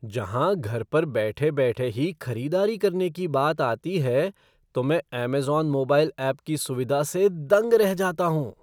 जहाँ घर पर बैठे बैठे ही खरीदारी करने की बात आती है तो मैं अमेज़न मोबाइल ऐप की सुविधा से दंग रह जाता हूँ।